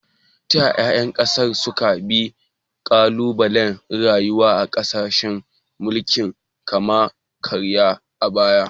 Ta yaya ƴan ƙasar suka bi ƙalubalen rayuwa a ƙarƙashin mulkin kama-karya a baya?